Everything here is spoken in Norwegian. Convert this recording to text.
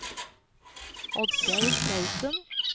Oddgeir Clausen